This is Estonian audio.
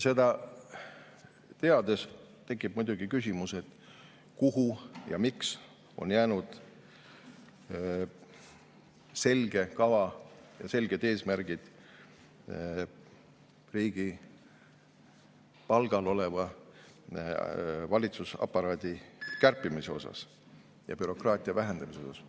Seda teades tekib muidugi küsimus, kuhu on jäänud selge kava ja selged eesmärgid riigi palgal oleva valitsusaparaadi kärpimise ja bürokraatia vähendamise kohta ja miks.